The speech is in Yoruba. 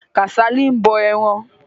Kàsálí ń bọ ẹran.